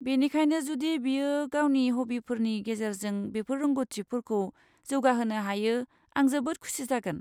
बेनिखायनो जुदि बियो गावनि हब्बिफोरनि गेजेरजों बेफोर रोंग'थिफोरखौ जौगाहोनो हायो, आं जोबोद खुसि जागोन।